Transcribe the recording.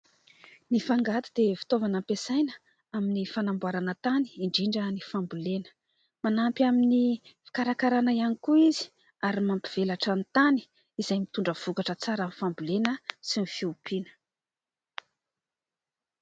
Ny fangady dia fitaovana ampiasaina amin'ny fanamboarana tany indrindra ny fambolena. Manampy amin'ny fikarakarana ihany koa izy ary mampivelatra ny tany izay mitondra vokatra tsara amin'ny fambolena sy ny fiompiana.